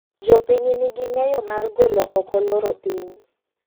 Jopiny ni gi ng'eyo mar golo oko loro piny.